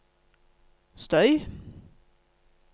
støy